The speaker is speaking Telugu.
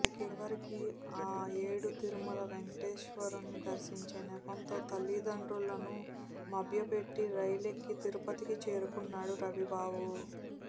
చివరికి ఆ ఏడు తిరుమల వేంకటేశ్వరుని దర్శించే నెపంతో తల్లిదండ్రులను మభ్యపెట్టి రైలెక్కి తిరుపతికి చేరుకున్నాడు రవిబాబు